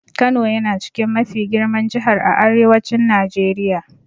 Kano yana chikin mafi girman Jihar a Arewacin Najeriya.